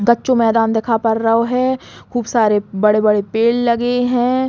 बच्चो मैदान दिखा पड़ो रहो है। खूब सारे बड़े-बड़े पेड़ लगे हैं।